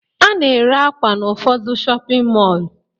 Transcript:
A na-ere akwa n'ụfọdụ shọpịn mọọ